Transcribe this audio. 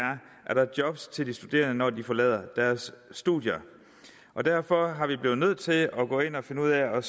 er der jobs til de studerende når de forlader deres studier derfor har vi været nødt til at gå ind og finde ud af